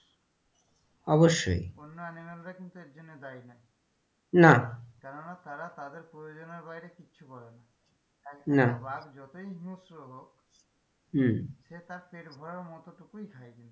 অবশ্যই বন্য animal রা কিন্তু এর জন্য দায়ী নই না কেননা তারা তাদের প্রয়োজনের বাইরে কিচ্ছু করে না না একটা বাঘ যতই হিংস্র হোক হম সে তার পেট ভরার মতো টুকুই খায়,